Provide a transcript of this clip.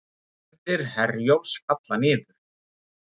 Ferðir Herjólfs falla niður